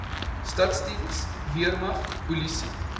staatsdiens weermag polisie